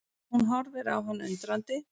Hún horfir á hann undrandi.